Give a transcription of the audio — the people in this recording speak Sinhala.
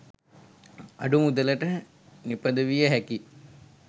අඩු මුදලට නිපදවිය හැකි